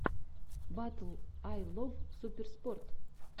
батл ай лов суперспорт